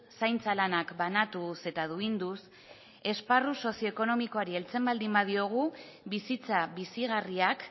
zaintza lanak banatuz eta duinduz esparru sozioekonomikoari heltzen baldin badiogu bizitza bizigarriak